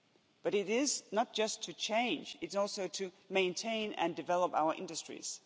But it is not just to change, it's also to maintain and develop our industries.